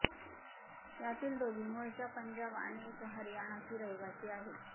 यातील दोघी मूळच्या पंजाब आणि एक हरियाणाची रहिवासी आहेत